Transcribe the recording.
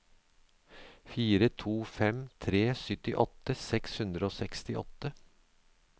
fire to fem tre syttiåtte seks hundre og sekstiåtte